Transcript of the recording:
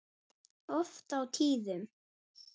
Oft á tíðum.